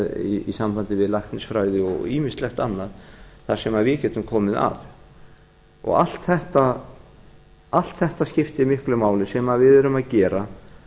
sviðum í sambandi við læknisfræði og ýmislegt annað þar sem við getum komið að allt þetta skiptir miklu máli sem við erum að gera